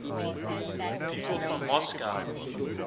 people from moscow